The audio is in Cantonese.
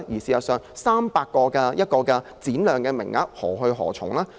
事實上，該中心提供的300個服務名額將何去何從呢？